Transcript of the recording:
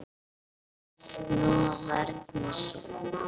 Að snúa vörn í sókn.